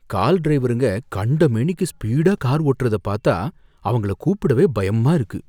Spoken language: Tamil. கால் டிரைவருங்க கண்டமேனிக்கு ஸ்பீடா கார் ஓட்றத பாத்தா அவங்களை கூப்பிடவே பயமா இருக்கு.